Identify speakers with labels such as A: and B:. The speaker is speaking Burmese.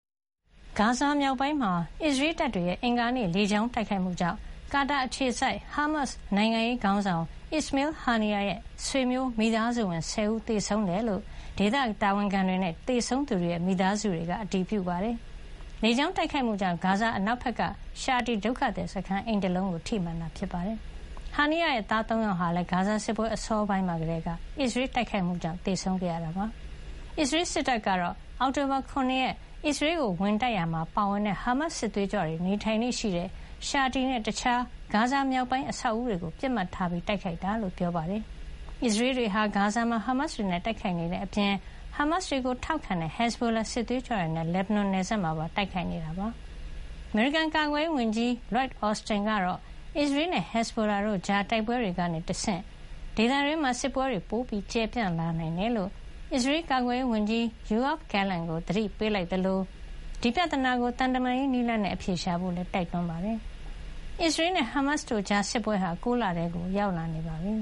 A: ဂါဇာမြောက်ပိုင်းမှာ အစ္စရေးတပ်တွေရဲ့ အင်္ဂါနေ့ လေကြောင်းတိုက်ခိုက်မှုကြောင့် Qatar အခြေစိုက် ဟာမတ်စ် နိုင်ငံရေးခေါင်းဆောင် Ismail Haniyeh ရဲ့ ဆွေမျိုးမိသားစုဝင် ၁၀ ဦး သေဆုံးခဲ့တယ်လို့ ဒေသတာဝန်ခံတွေနဲ့ သေဆုံးသူတွေရဲ့မိသားစုတွေက အတည်ပြုပါတယ်။ လေကြောင်းတိုက်ခိုက်မှုကြောင့် ဂါဇာမြို့အနောက်ဘက်က ရှာတီဒုက္ခသည်စခန်းက အိမ်တလုံးကို ထိမှန်ခဲ့တာပါ။ Haniyeh ရဲ့ သား ၃ ယောက်ဟာလည်း ဂါဇာစစ်ပွဲ အစောပိုင်းမှာကတည်းက အစ္စရေးတဲ့တိုက်ခိုက်မှုကြောင့် သေဆုံးခဲ့ရပါတယ်။ အစ္စရေးစစ်တပ်ကတော့ အောက်တိုဘာ ၇ ရက် ဟာမတ်စ်တွေ အစ္စရေးကိုဝင်တိုက်ရာမှာပါဝင်တဲ့ ဟာမတ်စစ်သွေးကြွတွေ နေထိုင်လေ့ရှိတဲ့ ရှာတီနဲ့ တခြား ဂါဇာမြောက်ပိုင်းက အဆောက်အဦးတွေကို ပစ်မှတ်ထား တိုက်ခိုက်ခဲ့တာလို့ ပြောပါတယ်။ အစ္စရေးတွေဟာ ဂါဇာမှာ ဟာမတ်စ်တွေနဲ့တိုက်ခိုက်နေတဲ့အပြင် ဟာမတ်စ်တွေကို ထောက်ခံတဲ့ ဟက်ဇ်ဘိုလာ စစ်သွေးကြွတွေနဲ့ လက်ဘနွန်နယ်စပ်မှာပါ တိုက်ခိုက်နေတာ ဖြစ်ပါတယ်။ အမေရိကန် ကာကွယ်ရေးဝန်ကြီး Lloyd Austin ကတော့ အစ္စရေးနဲ့ ဟက်ဇ်ဘိုလာတို့ကြား တိုက်ပွဲတွေကနေတဆင့် ဒေသတွင်းမှာ စစ်ပွဲတွေပိုပြီး ကျယ်ပြန့် လာနိုင်တယ်လို့ အစ္စရေးကာကွယ်ရေးဝန်ကြီး ယိုအာဗ် Gallant ကို သတိပေးလိုက်သလို ဒီပြဿနာကို သံတမန်ရေးနည်းလမ်းနဲ့ အဖြေရှာဖို့ တိုက်တွန်းလိုက်ပါတယ်။ အစ္စရေးနဲ့ ဟာမတ်စ်တို့ကြား စစ်ပွဲဟာ ၉ လထဲ ရောက်လာနေပြီ